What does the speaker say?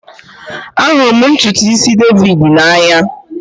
Ahụrụ m ntutu isi David n'anya